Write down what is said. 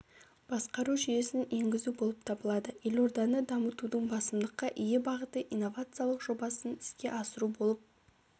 басқару жүйесін енгізу болып табылады елорданы дамытудың басымдыққа ие бағыты инновациялық жобасын іске асыру болып